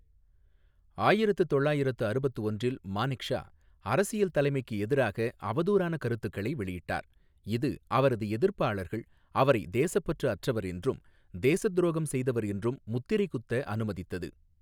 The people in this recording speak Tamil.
ஆயிரத்து தொள்ளாயிரத்து அறுபத்து ஒன்றில் மானெக்ஷா அரசியல் தலைமைக்கு எதிராக அவதூறான கருத்துக்களை வெளியிட்டார், இது அவரது எதிர்ப்பாளர்கள் அவரை தேசப்பற்று அற்றவர் என்றும் தேசத்துரோகம் செய்தவர் என்றும் முத்திரை குத்த அனுமதித்தது.